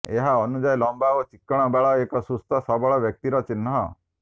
ଏହା ଅନୁଯାୟୀ ଲମ୍ବା ଓ ଚିକ୍କଣ ବାଳ ଏକ ସୁସ୍ଥ ସବଳ ବ୍ୟକ୍ତିର ଚିହ୍ନ